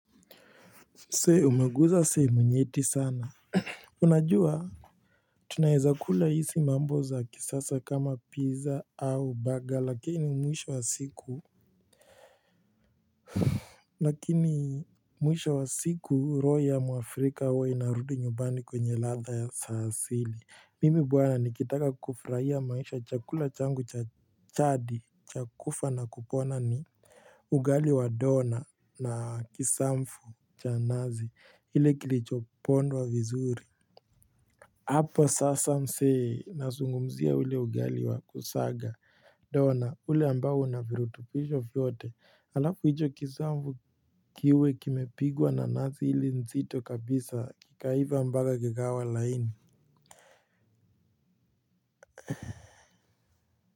Zee umeguza sehemu nyeti sana. Unajua tunaezakula hizi mambo za kisasa kama pizza au baga lakini mwisho wa siku. Lakini mwisho wa siku, roho ya mwafrika huwa inarudi nyumbani kwenye latha ya saasili. Mimi buwana nikitaka kufurahia maisha chakula changu cha thadi cha kufa na kupona ni ugali wa dona na kisamfu cha nazi. Hile kilicho pondwa vizuri, hapo sasa msee nazungumzia ule ugali wa kusaga, dona ule ambao una firutubisho vyote halafu hicho kisambu kiwe kimepigwa na nazi ile nzito kabisa kikaiva mpaka kikawa laini.